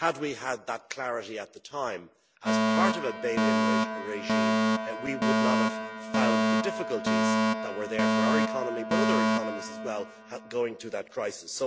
Had we had that clarity at the time, as part of a bail in regime, we would not have found the difficulties that were there for our economy but other economies as well going through that crisis.